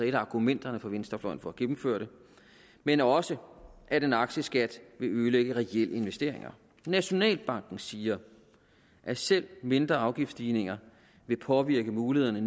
et af argumenterne for venstrefløjen for at gennemføre det men også at en aktieskat vil ødelægge reelle investeringer nationalbanken siger at selv mindre afgiftsstigninger vil påvirke mulighederne